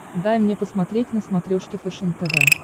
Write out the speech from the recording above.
дай мне посмотреть на смотрешке фэшен тв